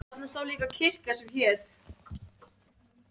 Þá varpaði Guðmundur fram þessari vísu